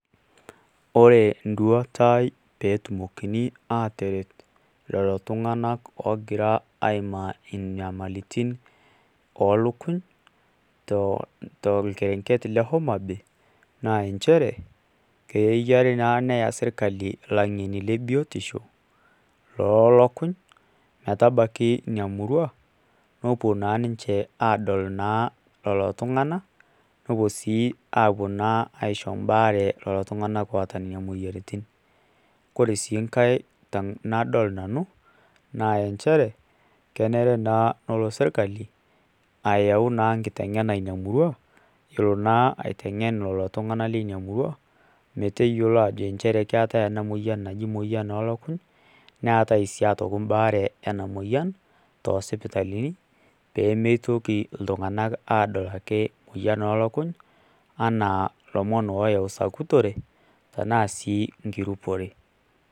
Ore enduata aai petumokini ataret lolotunganak ogira aimaa inyamalitin olukung torkerenket le homabay naa nchere kenare naa neya serkali langeni lebiotisho lolukung, metabaki inamurua nepuo naa ninche adol lolotunganak nepuo na aisho embaare lolotunganak oota nonamoyiaritin koree si nkae tanadol nanu na nchere kenare naa nelo serkali ayau naa nkitengena ina murua iyiolo naa aitengen lolotunganak lina murua metayiolo ajo keetae enamoyian olukuny neetai si aitoki baare enamoyian tosipitalini pemeitoki ltunganak adol emoyian olukunyanaa lomon oyau sakutore tanasii nkirupore.